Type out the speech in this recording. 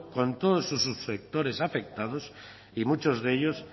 con todas sus subsectores afectados y muchos de ellos